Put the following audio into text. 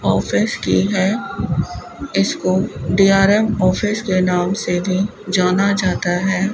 Office की है इसको डी_आर_एम ऑफिस के नाम से भी जाना जाता है।